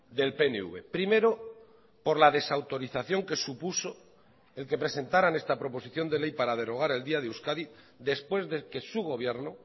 del pnv primero por la desautorización que supuso el que presentaran esta proposición de ley para derogar el día de euskadi después de que su gobierno